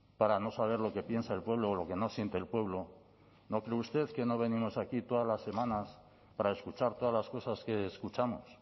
para no saber lo que piensa el pueblo o lo que no siente el pueblo no cree usted que no venimos aquí todas las semanas para escuchar todas las cosas que escuchamos